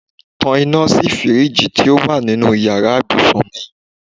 Tan iná sí fíríìjiì tó wà nínú ìyára ibùsùn mi.